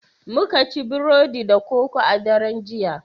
Muka ci Burodi da koko a daren jiya